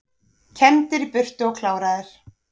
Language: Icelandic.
Kembdir í burtu og kláraðir